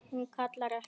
Hún kallar ekki: